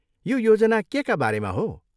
यो योजना केका बारेमा हो?